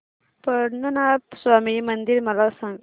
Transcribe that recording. पद्मनाभ स्वामी मंदिर मला सांग